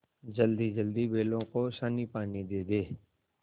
जल्दीजल्दी बैलों को सानीपानी दे दें